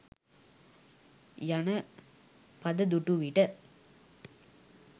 යන පද දුටු විට